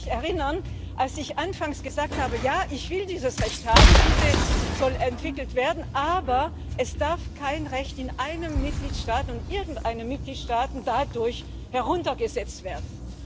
Ich kann mich erinnern, als ich anfangs gesagt habe Ja, ich will dieses Recht haben, das soll entwickelt werden, aber es darf kein Recht in einem Mitgliedstaat und irgendeinem Mitgliedstaat dadurch heruntergesetzt werden.